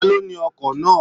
Ta ló ní oko náà?